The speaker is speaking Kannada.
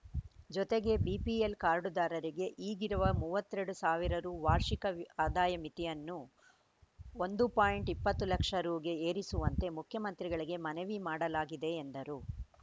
ಜೊತೆಗೆ ಬಿಪಿಎಲ್‌ ಕಾರ್ಡ್‌ದಾರರಿಗೆ ಈಗಿರುವ ಮೂವತ್ತೆರಡು ಸಾವಿರ ರು ವಾರ್ಷಿಕ ವ್ ಆದಾಯ ಮಿತಿಯನ್ನು ಒಂದು ಪಾಯಿಂಟ್ ಇಪ್ಪತ್ತು ಲಕ್ಷ ರುಗೆ ಏರಿಸುವಂತೆ ಮುಖ್ಯಮಂತ್ರಿಗಳಿಗೆ ಮನವಿ ಮಾಡಲಾಗಿದೆ ಎಂದರು